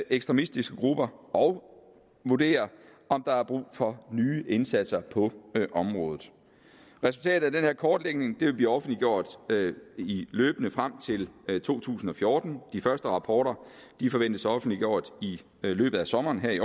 ekstremistiske grupper og vurdere om der er brug for nye indsatser på området resultatet af den her kortlægning vil blive offentliggjort løbende frem til to tusind og fjorten de første rapporter forventes offentliggjort i løbet af sommeren her i